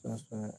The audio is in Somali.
saas waya.